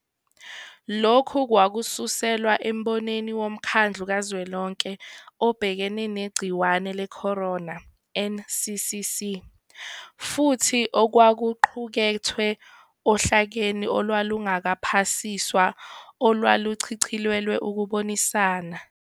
Lokhu kwakususelwa embonweni woMkhandlu Kazwelonke Obhekene Negciwane Lecorona, NCCC, futhi okwakuqukethwe ohlakeni olwalungakaphasiswa olwaluchicilelelwe ukubonisana.